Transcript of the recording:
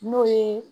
N'o ye